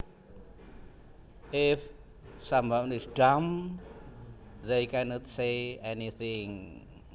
If someone is dumb they can not say anything